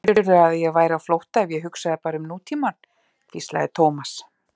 Heldurðu að ég væri á flótta ef ég hugsaði bara um nútímann? hvíslaði Thomas.